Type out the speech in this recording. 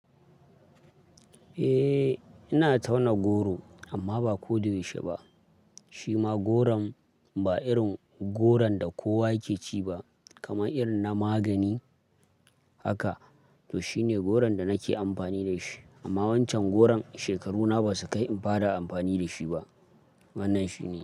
Eh, ina tauna goro amma ba ko da yaushe ba. Shi ma goron ba irin goron da kowa yake ci ba, kamar irin na magani haka. To shine goron da nake amfani da shi. Amma wancan goron shekaru na ba su kai in fara amfani da shi ba. Wannan shine.